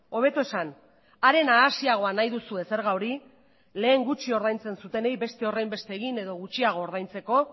hobeto esan are nahasiagoa nahi duzue zerga hori lehen gutxi ordaintzen zutenei beste horrenbeste egin edo gutxiago ordaintzeko